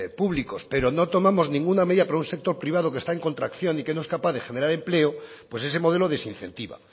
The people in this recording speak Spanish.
públicos pero no tomamos ninguna medida para un sector privado que está en contracción y que no es capaz de generar empleo pues ese modelo desincentiva